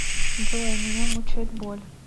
джой меня мучает боль